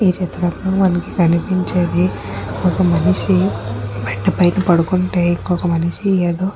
ఈ చిత్రంలో మనకు కనిపించేది ఒక మనషి. బెడ్ పైన పడుకుంటే ఇంకొక మనిషి ఏదో --